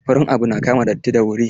Farin abu na kama datti da wuri.